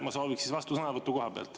Ma sooviks siis vastusõnavõttu kohapealt.